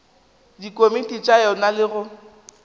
dikomiti tša yona le go